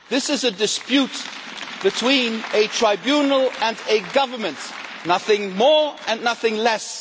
This is a dispute between a tribunal and a government, nothing more and nothing less.